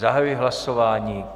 Zahajuji hlasování.